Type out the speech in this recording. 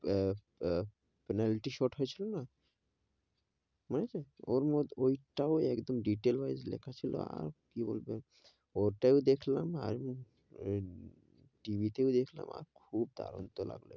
আহ আহ penelty shot হয়ে ছিল না, মনে আছে, ওর মধ্যে ওই টাও একদম detail ভাবে লেখা ছিল, আর কি বলবে, ওটাই দেখলাম আর, এ TV তেওঁ দেখলাম, খুব দারুন তো লাগলো,